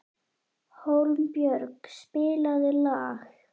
Hólmbjörg, spilaðu lag.